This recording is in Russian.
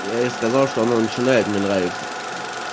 я ей сказал что она начинает мне нравиться